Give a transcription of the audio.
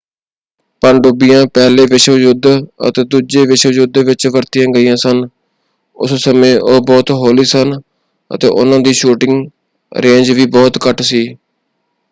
ਪਣਡੁੱਬੀਆਂ ਪਹਿਲੇ ਵਿਸ਼ਵ ਯੁੱਧ ਅਤੇ ਦੂਜੇ ਵਿਸ਼ਵ ਯੁੱਧ ਵਿੱਚ ਵਰਤੀਆਂ ਗਈਆਂ ਸਨ। ਉਸ ਸਮੇਂ ਉਹ ਬਹੁਤ ਹੌਲੀ ਸਨ ਅਤੇ ਉਹਨਾਂ ਦੀ ਸ਼ੂਟਿੰਗ ਰੇਂਜ ਵੀ ਬਹੁਤ ਘੱਟ ਸੀ।